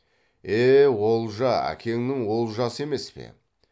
е олжа әкеңнің олжасы емес пе